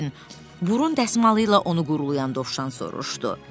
Piqletin burun dəsmalı ilə onu qurulayan Dovşan soruşdu.